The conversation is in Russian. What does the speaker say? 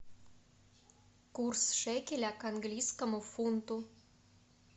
курс шекеля к английскому фунту